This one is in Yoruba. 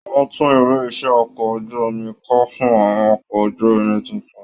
Wọn n tún ilé iṣẹ okọ̀ ojú omi kọ́ fún àwọn okọ̀ ojú omi títún.